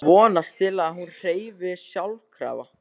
Vonast til að hún hreyfist sjálfkrafa.